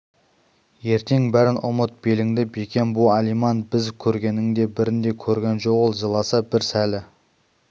ертең бәрін ұмыт беліңді бекем бу алиман біз көргеннің бірін де көрген жоқ ол жыласа бір сәрі